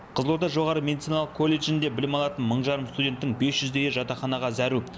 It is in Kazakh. қызылорда жоғары медициналық колледжінде білім алатын мың жарым студенттің бес жүздейі жатақханаға зәру